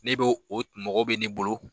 Ne b'o o mɔgɔw bɛ ne bolo